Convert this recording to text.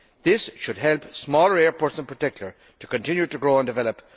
This should help smaller airports, in particular, to continue to grow and develop.